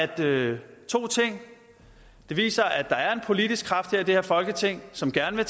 det viser at der er en politisk kraft i det her folketing som gerne